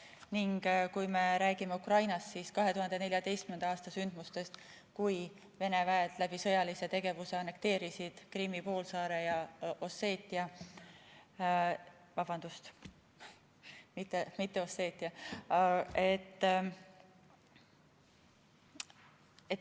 Ning kui me räägime Ukrainast, siis räägime 2014. aasta sündmustest, kui Vene väed sõjalise tegevusega annekteerisid Krimmi poolsaare.